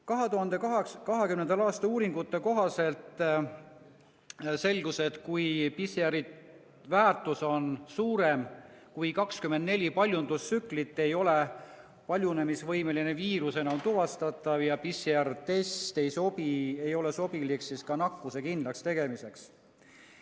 2020. aasta uuringute kohaselt selgus, et kui PCR‑i väärtus on suurem kui 24 paljundustsüklit, ei ole paljunemisvõimeline viirus enam tuvastatav ja PCR‑test ei sobi nakkuse kindlakstegemiseks.